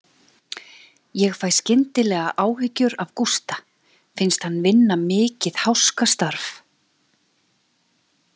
Ég fæ skyndilega áhyggjur af Gústa, finnst hann vinna mikið háskastarf.